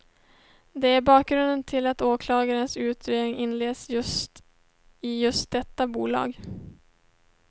Det är bakgrunden till att åklagarens utredning inleds i just detta bolag.